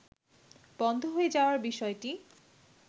বন্ধ হয়ে যাওয়ার বিষয়টি